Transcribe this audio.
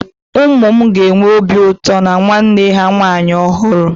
Ụmụ m ga-enwe obi ụtọ na nwanne ha nwaanyị ọhụrụ